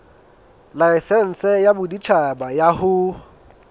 laesense ya boditjhaba ya ho